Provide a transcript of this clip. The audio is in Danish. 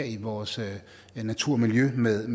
i vores natur og miljø med